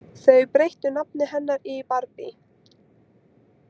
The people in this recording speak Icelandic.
Þau breyttu nafni hennar í Barbie.